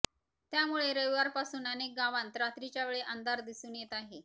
त्यामुळे रविवारपासून अनेक गावांत रात्रीच्यावेळी अंधार दिसून येत आहे